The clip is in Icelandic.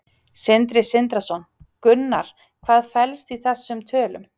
Sindri Sindrason: Gunnar, hvað felst í þessum tölum?